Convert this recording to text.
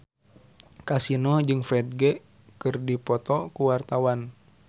Kasino jeung Ferdge keur dipoto ku wartawan